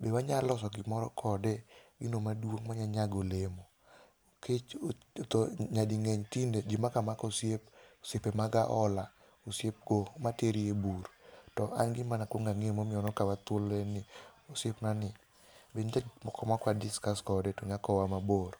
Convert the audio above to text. be wanyaloso gimoro kode, gino maduong' ma nya nyago olemo, nikech nyading'eny tinde ji mako amako osiep, osiepe mag aola. Osiep kor, materi e bur, to an gima nakwongo ang'eyo momiyo nokawa thuolo en ni, osiepnani, be nitie gik moko mok wa discuss kode to nya kowa mabor.